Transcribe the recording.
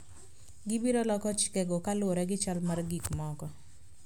Gibiro loko chikego kaluwore gi chal mar gikmoko